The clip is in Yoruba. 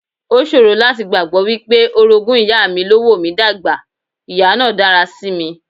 O ṣòro láti gbàgbọ́ wípé orogún ìyá mi ló wò mí dà gbà, ìyá náà dára sí mi.